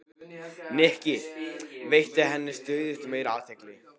Nikki, veitti henni stöðugt meiri athygli.